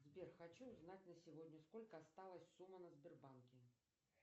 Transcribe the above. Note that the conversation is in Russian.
сбер хочу узнать на сегодня сколько осталась сумма на сбербанке